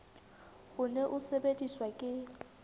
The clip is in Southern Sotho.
o ne o sebediswa ke